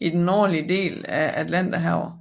i det nordligste del af Atlanterhavet